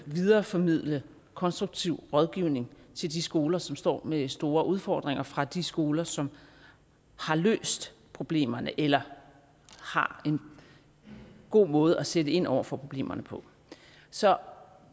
videreformidle konstruktiv rådgivning til de skoler som står med store udfordringer fra de skoler som har løst problemerne eller har en god måde at sætte ind over for problemerne på så